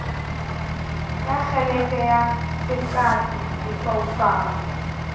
ka kgeleke ya seqapi lefaufau